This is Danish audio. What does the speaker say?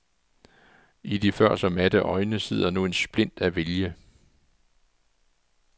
I de før så matte øjne sidder nu en splint af vilje.